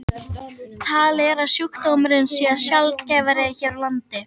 Talið er að sjúkdómurinn sé sjaldgæfari hér á landi.